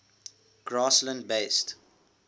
grassland based